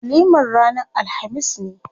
Walimar ranar alhamis ne.